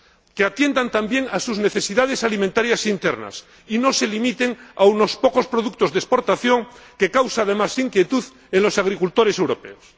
Que atiendan, también, a sus necesidades alimentarias internas y no se limiten a unos pocos productos de exportación, que causan, además, inquietud en los agricultores europeos.